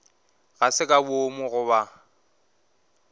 ga se ka boomo goba